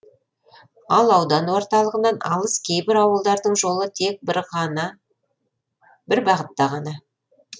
ал аудан орталығынан алыс кейбір ауылдардың жолы тек бір бағытта ғана